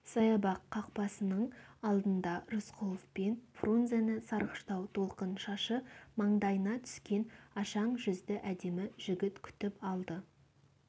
саябақ қақпасының алдында рысқұлов пен фрунзені сарғыштау толқын шашы маңдайына түскен ашаң жүзді әдемі жігіт күтіп алды